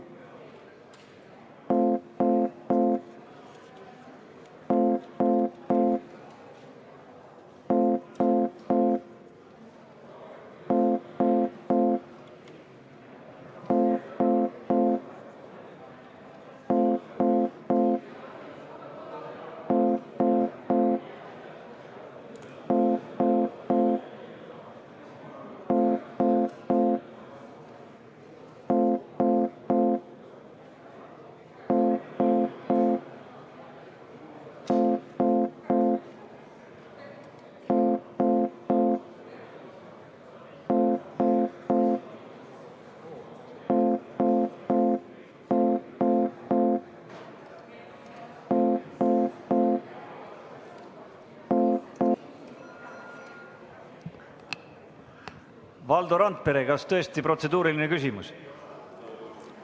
Valdo Randpere, kas tõesti protseduuriline küsimus?